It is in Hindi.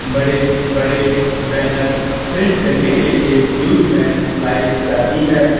बड़े बड़े बैनर प्रिंट करने के लिए यूज मे लाई जाती है।